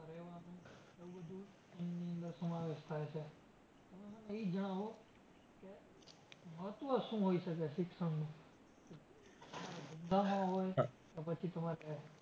નો સમાવેશ થાય છે. તમે મને ઈ જણાવો કે મહત્વ શું હોઈ શકે શિક્ષણનું? પછી તમારા ધંધામાં હોઈ કે પછી તમારે